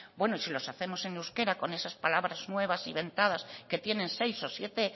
bueno y si los hacemos en euskera con esas palabras nuevas inventadas que tienen seis o siete